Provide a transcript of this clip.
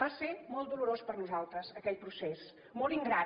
va ser molt dolorós per nosaltres aquell procés molt ingrat